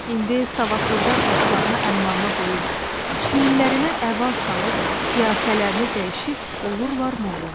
İndi savadsızlar başlarına əmmamə qoyub, çiyinlərinə əba salıb, qiyafələrini dəyişib, olurlar molla.